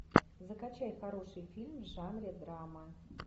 закачай хороший фильм в жанре драма